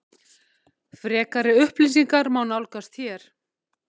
Frekari upplýsingar má nálgast hér